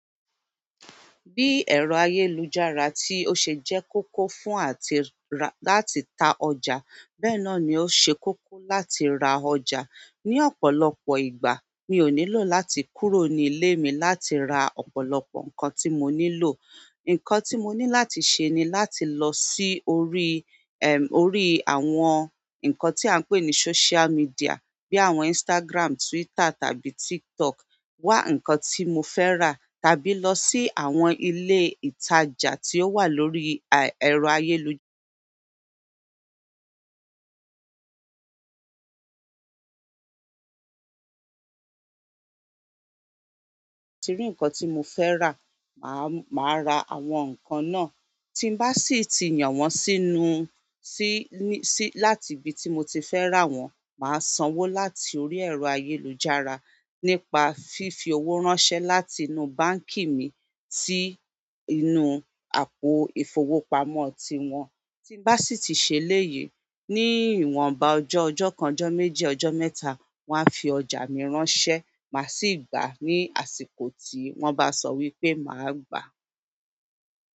Bí ẹ̀rọ ayélujára tí ó ṣe jẹ́ kókó fún àti láti ta ọjà, bẹ́ẹ̀ náà ni ó ṣe kókó láti ra ọjà. Ni ọ̀pọ̀lọpọ̀ ìgbà, mi ò nílò láti kúrò ní ilé mi láti ra ọ̀pọ̀lọpọ̀ nǹkan tí mo nílò. Nǹkan tí mo ní láti ṣe ni láti lọ sí orí, orí àwọn nǹkan tí à ń pè ní social media bí i àwọn Instagram, Twitter tàbí TikTok, wá ǹkan tí mo fẹ́ rà tàbí lọ sí àwọn ilé ìtajà tí ó wà lórí ẹ̀rọ ayélujára. Ti rí ǹkan tí mo fẹ́ rà, màá, màá ra àwọn nǹkan náà. Tí n bá sì ti yàn wọ́n sínú, sí, ní, sí, láti ibi tí mo ti fẹ́ rà wọ́n, màá sanwó láti orí ẹ̀rọ ayélujára nípa fífi owó ránṣẹ́ láti inú báǹkì mi sí inú àpò ìfowópamọ́ tiwọn. Tí n bá sì ti ṣe eléyìí, ní ìwọnba ọjọ́ kan, ọjọ́ méjì, ọjọ́ mẹ́ta wọ́n á fi ọjà mi ránṣẹ́, màá sì gbà á ní àsìkò tí wọ́n bá sọ wípé màá gbà á.